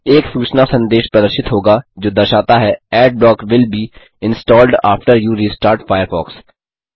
एक सूचना संदेश प्रदर्शित होगा जो दर्शाता है Adblock will be installed after you restart Firefox